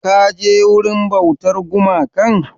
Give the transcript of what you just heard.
Ka je wurin bautar gumakan?